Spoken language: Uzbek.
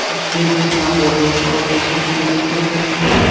Toshkentda sambo bo‘yicha Osiyo chempionati yakunlandi.